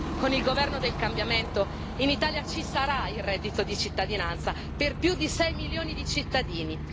Con il governo del cambiamento, in Italia ci sarà il reddito di cittadinanza per più di sei milioni di cittadini.